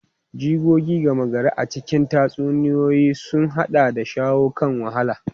Jigogi gama gari a cikin tatsuniyoyi sun haɗa da shawo kan wahala.